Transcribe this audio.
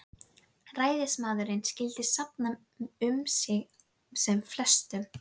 Jóni Grindvíkingi galt hann tvílita prjónahúfu að launum fyrir guðsorðið.